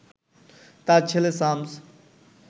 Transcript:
তার ছেলে শামস